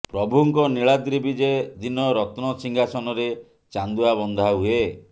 ପ୍ରଭୁଙ୍କ ନିଳାଦ୍ରୀ ବିଜେ ଦିନ ରତ୍ନ ସିଂହାସନରେ ଚାନ୍ଦୁଆ ବନ୍ଧାହୁଏ